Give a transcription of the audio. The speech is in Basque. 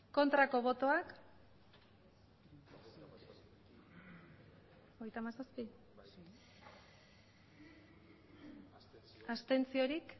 aurkako botoak abstentzioak